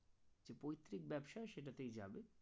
পৈত্রিক ব্যবসায় সেটাতেই যাবে